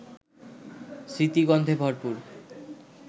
স্মৃতিগন্ধে ভরপুর